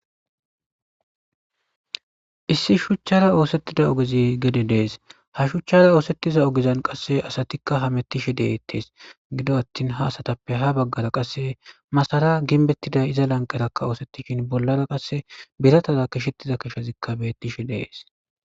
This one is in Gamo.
Issi shuchchara oosettida ogezi gede dees. Ha shuchchara oosettiza ogezan qasse asatikka hamettishe deettees gido attin ha asatappe ha baggara qasse masara ginbettida iza lanqerakka oosettishin bollara qasse biratada kishettiza keshazikka bettishe deees.